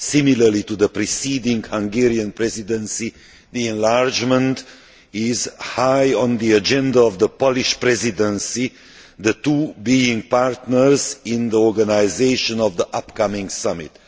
Similarly to the preceding Hungarian Presidency, enlargement is high on the agenda of the Polish Presidency, the two being partners in the organisation of the upcoming summit.